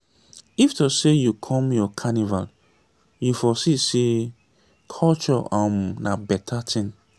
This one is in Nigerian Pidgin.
if to sey you come our carnival you for see sey culture um na beta tin.